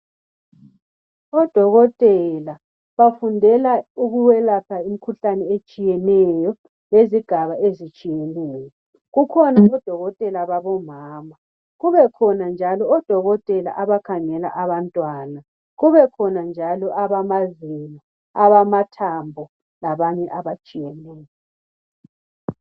Odokotela bafundela ukwelapha imkhuhlane etshiyeneyo ngezigaba ezitshiyeneyo kukhona odokotela babomama kube khona njalo odokotela abakhangela abantwana kube khona njalo abamazinyo, abamathambo labanye abatshiyeneyo